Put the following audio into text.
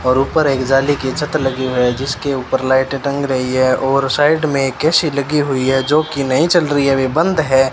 और ऊपर एक जाली की छत लगी हुई है जिसके ऊपर लाइटे टंग रही है और साइड में एक ए_सी लगी हुई है जोकि नहीं चल रही है अभी बंद है।